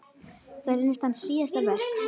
Það reynist hans síðasta verk.